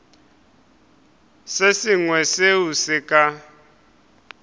se sengwe seo se ka